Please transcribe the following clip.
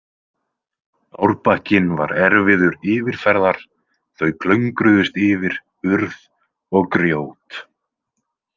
Árbakkinn var erfiður yfirferðar, þau klöngruðust yfir urð og grjót.